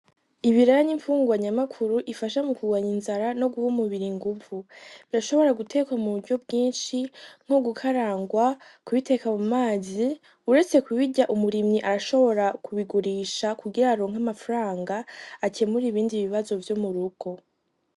Ibiraya n'imfungurwa nyamukuru ifasha mu kurwanya inzara nomuguha umubiri inguvu birashobora gutekwa muburyo bwinshi nko gukarangwa kubiteka mu mazi uretse kubirya umurimyi arashobora kubigurisha kugira aronka amafaranga akemure ibindi bibazo vyo murugo.